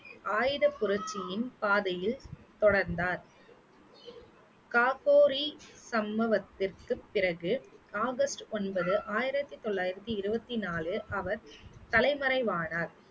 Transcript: ஆயுதப் புரட்சியின் பாதையில் தொடர்ந்தார் காப்போரி சம்பவத்திற்கு பிறகு ஆகஸ்ட் ஒன்பது ஆயிரத்தி தொள்ளாயிரத்தி இருவத்தி நாலில் அவர் தலைமறைவானார்